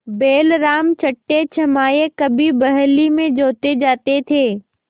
बैलराम छठेछमाहे कभी बहली में जोते जाते थे